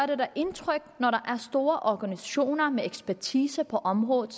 det da indtryk når der er store organisationer med ekspertise på området